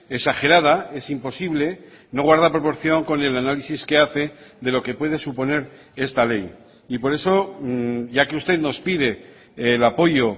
exagerada es imposible no guarda proporción con el análisis que hace de lo que puede suponer esta ley y por eso ya que usted nos pide el apoyo